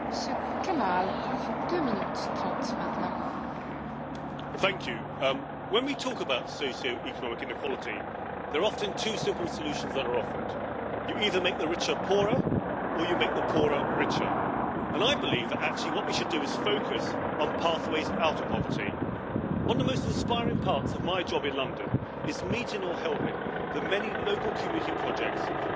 Madam President, when we talk about socio economic inequality, there are often two simple solutions that are offered, You either make the richer poorer, or you make the poorer richer, and I believe that actually what we should do is focus on pathways out of poverty. One of the most inspiring parts of my job in London, is meeting or helping the many local community projects tackling poverty in their local neighbourhoods.